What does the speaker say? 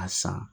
A san